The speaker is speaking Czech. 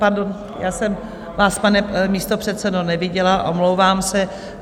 Pardon, já jsem vás, pane místopředsedo, neviděla, omlouvám se.